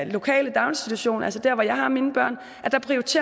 lokale daginstitution altså der hvor jeg har mine børn